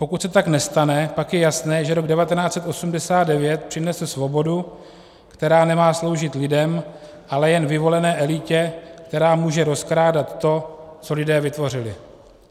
Pokud se tak nestane, pak je jasné, že rok 1989 přinesl svobodu, která nemá sloužit lidem, ale jen vyvolené elitě, která může rozkrádat to, co lidé vytvořili.